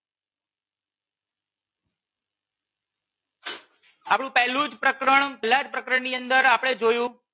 આપણું પહેલું જ પ્રકરણ પહેલા જ પ્રકરણ ની અંદર આપણે જોયું